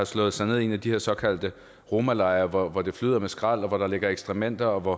slået sig ned i en af de her såkaldte romalejre hvor det flød med skrald og hvor der lå ekskrementer og hvor